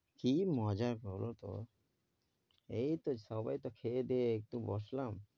কি মজা কর তো, এই তো সাবাই তো খেয়ে দেয়ে একটু বসলাম ।